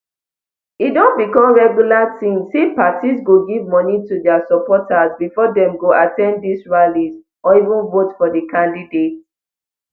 e don become regular tin say parties go give moni to dia supporters bifor dem go at ten d dis rallies or even vote for di candidates